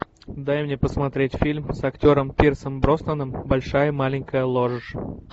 дай мне посмотреть фильм с актером пирсом броснаном большая маленькая ложь